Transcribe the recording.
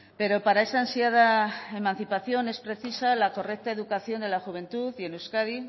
pero para esa ansiada emancipación es precisa la correcta educación de la juventud y en euskadi